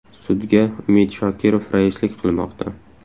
Sudga Umid Shokirov raislik qilmoqda.